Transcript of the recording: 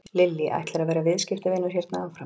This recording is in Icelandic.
Lillý: Ætlarðu að vera viðskiptavinur hérna áfram?